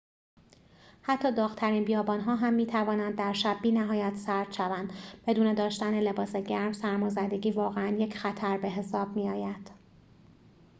حتی داغ‌ترین بیابان‌ها هم می‌توانند در شب بی‌نهایت سرد شوند بدون داشتن لباس گرم سرمازدگی واقعاً یک خطر به‌حساب می‌آید